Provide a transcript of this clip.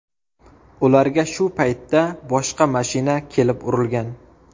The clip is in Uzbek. Ularga shu paytda boshqa mashina kelib urilgan.